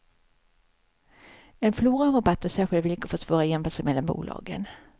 En flora av rabatter och särskilda villkor försvårar jämförelser mellan bolagen.